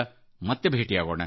ಮತ್ತೆ ಭೇಟಿಯಾಗೋಣ